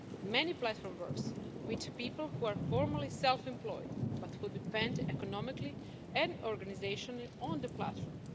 Many platforms work with people who are formally self-employed but who depend economically and organisationally on the platform.